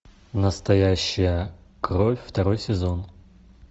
настоящая кровь второй сезон